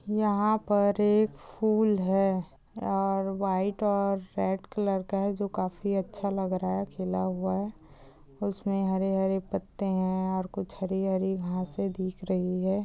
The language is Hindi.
यंहा पर एक फूल है और व्हाइट और रेड कलर का है जो काफी अच्छा लग रहा है खिला हुआ है उसमे हरे हरे पत्ते है और कुछ हरी हरी घासे दिख रही है ।